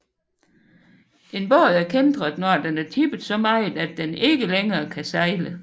En båd er kæntret når den er tippet så meget at den ikke længere kan sejle